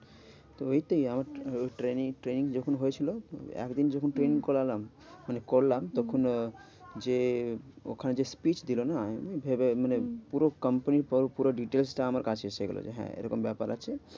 তো ওইটাই আমার তো training training যখন হয়েছিল একদিন যখন আচ্ছা training করলাম। মানে করলাম হম তখন যে ওখানে যে speech দিলো না? আমি ভেবে মানে হম পুরো company পুরো details টা আমার কাছে এসে গেল যে, হ্যাঁ এরকম ব্যাপার আছে।